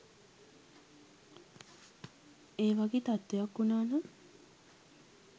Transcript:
ඒ වගේ තත්ත්වයක් වුණා නම්